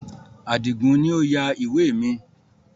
Adigun ni ó yà ìwé mi